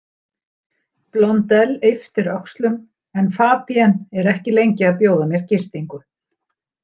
Blondelle ypptir öxlum en Fabienne er ekki lengi að bjóða mér gistingu.